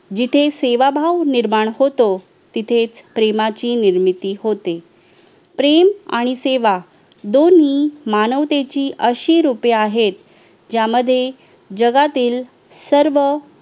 जिथे सेवाभाव निर्माण होतो तिथेच प्रेमाची निर्मिती होते प्रेम आणि सेवा दोन्ही मानवतेची अशी रूपे आहेत ज्यामध्ये जगातील सर्व